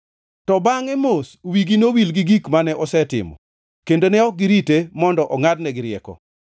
To ma ok wigi nowil gi gik mane osetimo kendo ne ok girite mondo ongʼadnegi rieko.